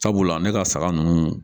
Sabula ne ka saga ninnu